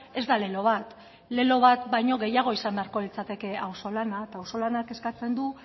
ez da lelo bat lelo bat baino gehiago izan beharko litzateke auzolana eta auzolanak eskatzen du